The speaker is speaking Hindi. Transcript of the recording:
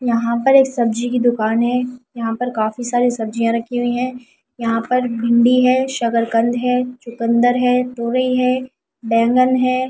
यहां पर एक सब्जी की दुकान है यहां पर काफी सारी सब्जियां रखी हुई है यहां पर भींडी है शकरकंद है चुकंदर है दोरही है बैंगन हे--